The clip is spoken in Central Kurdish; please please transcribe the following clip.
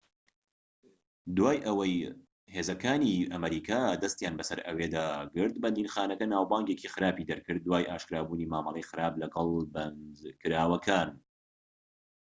دوای ئەوەی هێزەکانی ئەمریکا دەستیان بەسەر ئەوێدا گرت بەندیخانەکە ناوبانگێکی خراپی دەرکرد دوای ئاشکرابوونی مامەڵەی خراپ لەگەڵ بەندکراوەکان